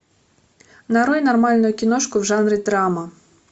нарой нормальную киношку в жанре драма